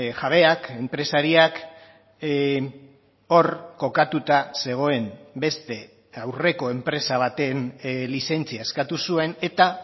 jabeak enpresariak hor kokatuta zegoen beste aurreko enpresa baten lizentzia eskatu zuen eta